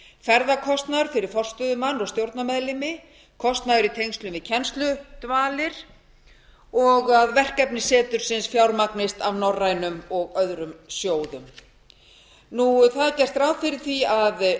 ferðakostnaður fyrir forstöðumann og stjórnarmeðlimi kostnaður í tengslum við kennsludvalir og verkefni setursins fjármagnist af norrænum og öðrum sjóðum það er gert ráð fyrir að